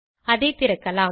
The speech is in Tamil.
அதை திறக்கலாம்